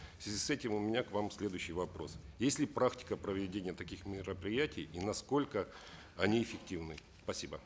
в связи с этим у меня к вам следующий вопрос есть ли практика проведения таких мероприятий и насколько они эффективны спасибо